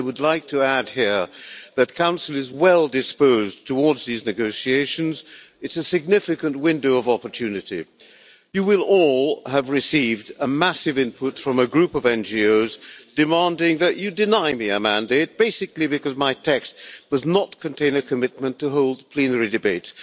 I would like to add here that the Council is well disposed towards these negotiations. It's a significant window of opportunity. You will all have received a massive input from a group of NGOs demanding that you deny me a mandate, basically because my text does not contain a commitment to holding a plenary debate.